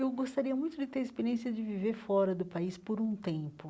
Eu gostaria muito de ter a experiência de viver fora do país por um tempo.